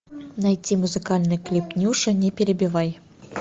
найти музыкальный клип нюши не перебивай